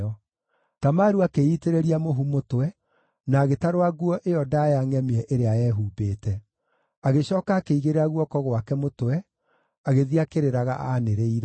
Tamaru akĩĩitĩrĩria mũhu mũtwe, na agĩtarũra nguo ĩyo ndaaya ngʼemie ĩrĩa eehumbĩte. Agĩcooka akĩigĩrĩra guoko gwake mũtwe, agĩthiĩ akĩrĩraga aanĩrĩire.